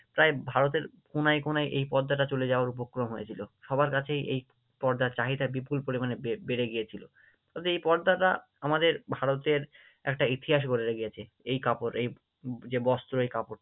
প্রায় ভারতের কোনায় কোনায় এই পর্দাটা চলে যাওয়ার উপক্রম হয়েছিল, সবার কাছেই এই পর্দার চাহিদা বিপুল পরিমাণে বেড়ে গিয়েছিলো, ফলে আই পর্দাটা আমাদের ভারতের একটা ইতিহাস বদলে গিয়েছে, এই কাপড় এই যে বস্ত্র আই কাপড়